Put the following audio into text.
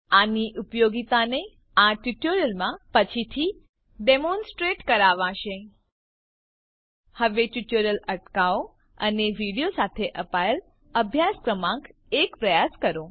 આની ઉપયોગિતાને આ ટ્યુટોરીયલમાં પછીથી ડેમોનસ્ટ્રેટ કરાવાશે હવે ટ્યુટોરીયલ અટકાવો અને વિડીઓ સાથે અપાયેલ અભ્યાસ ક્રમાંક એક પ્રયાસ કરો